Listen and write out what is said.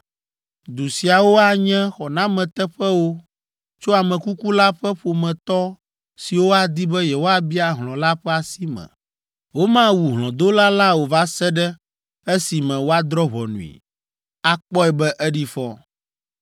Du siawo anye xɔnameteƒewo tso ame kuku la ƒe ƒometɔ siwo adi be yewoabia hlɔ̃ la ƒe asi me. Womawu hlɔ̃dola la o va se ɖe esime woadrɔ̃ ʋɔnui, akpɔe be eɖi fɔ.